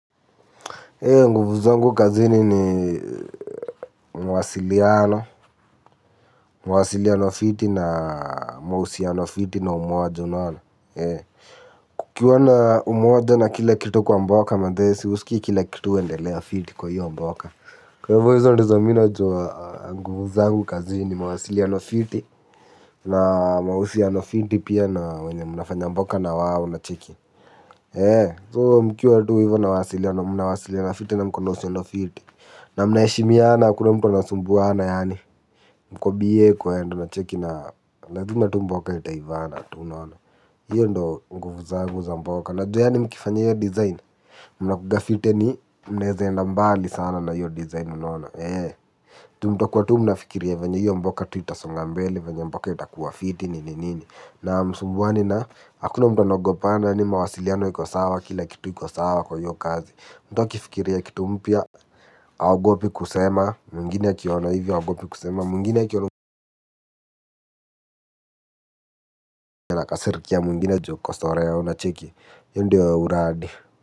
Nguvu zangu kazini ni mawasiliano, mawasiliano fiti na mahusiano fiti na umoja unaona. Kukiwa na umoja na kila kitu kwa mboka manze si, husikii kila kitu huendelea fiti kwa hiyo mboka. Kwa hivo hizo ndizo mina jua nguvu zangu kazi ni mwasiliano fiti na mahusiano fiti pia na mwenye mnafanya mboka na wao una cheki. So mkiwa tu hivo nawasiliano mnawasiliana fiti na mkona uhusiano fiti. Na mna eshimiana akuna mtu anasumbuana yani mku bie mna cheki unaona lazima tu mboka itaivana hiyo ndo nguvu zangu za mboka najua ani mkifanya iyo dizain mnkuaga fit anye mneza enda mbali sana na hiyo dizain. Tu mtu kwa tu mnafikiria vanye yyo mboka tu itasongambele. Vanye mboka ita kuwa fiti ni ni ni na msumbuwa ni na hakuna mtu anagopana ni mawasiliano yiko sawa. Kila kitu yiko sawa kwa hiyo kazi. Mtu kifikiria kitu mpya. Augopi kusema. Mwingine kiona hivyo augopi kusema. Mwingine kiona hivyo na kasirikia. Mwingine joko sore ya unacheki. Yondio uradi.